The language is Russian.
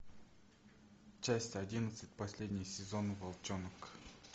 часть одиннадцать последний сезон волчонок